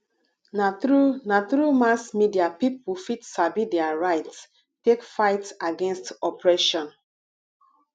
na through na through mass media people fit sabi their rights take fight against oppression